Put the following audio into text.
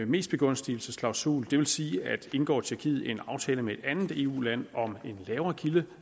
mestbegunstigelsesklausul det vil sige at indgår tjekkiet en aftale med et andet eu land om en lavere